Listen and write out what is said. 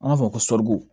An b'a fɔ ko sɔri